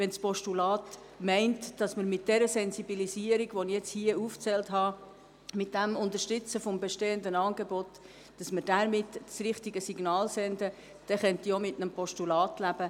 Wenn das Postulat verlangt, dass man mit dieser Sensibilisierung, mit der Unterstützung der bestehenden Angebote, die ich aufgezählt habe, das richtige Signal sendet, dann könnte ich auch mit einem Postulat leben.